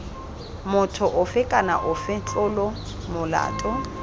motho ofe kana ofe tlolomolato